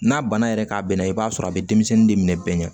N'a bana yɛrɛ k'a bɛnna i b'a sɔrɔ a bɛ denmisɛnnin de minɛ bɛɛ ɲɛ